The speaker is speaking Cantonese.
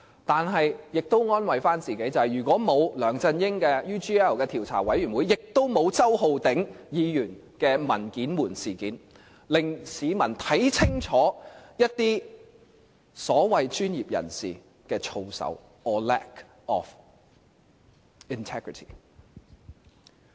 但我們也可以安慰自己，如果沒有梁振英的 UGL 調查委員會，也就沒有周浩鼎議員的"文件門"事件，令市民看清楚一些所謂專業人士的操守 or lack of integrity。